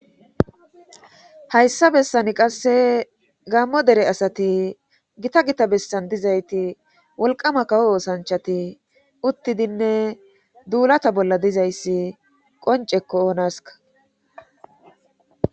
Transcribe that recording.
Hayssa bessani qasse gammo dere asati gita gita bessan dizayti wolqama kawo oosanchati uttidinne duulata bolla dizayssi qoncekko oonaska